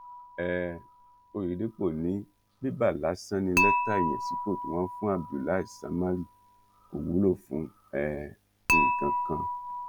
um òyédèpọ ni bébà lásán ní lẹtà ìyànsípò tí wọn fún abdullahi samárì kò wúlò fún um nǹkan kan